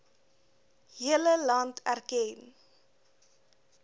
hele land erken